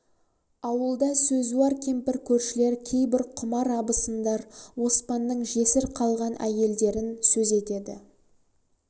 ауылда сөзуар кемпір көршілер кейбір құмар абысындар оспанның жесір қалған әйелдерін сөз етеді